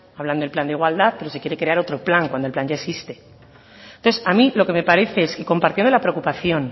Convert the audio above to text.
hablan del plan de igualdad pero se quiere crear otro plan cuando el plan ya existe entonces a mi lo que me parece es que compartiendo la preocupación